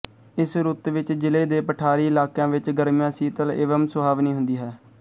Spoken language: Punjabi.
ਇਸ ਰੁੱਤ ਵਿੱਚ ਜਿਲ੍ਹੇ ਦੇ ਪਠਾਰੀ ਇਲਾਕਿਆਂ ਵਿੱਚ ਗਰਮੀਆਂ ਸੀਤਲ ਏਵਮ ਸੁਹਾਵਨੀ ਹੁੰਦੀ ਹੈ